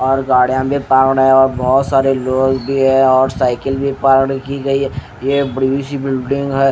और गाड़ीयां भी पावड़े औ बहुत सारे लोग भी है और साइकिल भी पावड़खी की गई है ये ये बड़ी सी बिल्डिंग है।